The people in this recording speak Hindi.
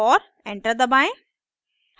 और enter दबाएं